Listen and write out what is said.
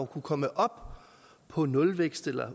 kunne komme op på nulvækst eller